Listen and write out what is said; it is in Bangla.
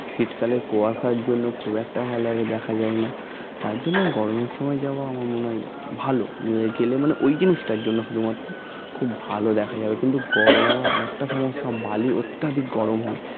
শীতকালের কুয়াশার জন্য খুব একটা ভালোভাবে দেখা যায় না তার জন্য গরমের সময় যাওয়া আমার মনে হয় ভালো উহ গেলে মানে ওই জিনিসটা গেলে শুধু মাত্র খুব ভালো দেখা যায় কিন্তু গরমে আবার আর একটা ভালো সব বালি অত্যাধিক গরম হয়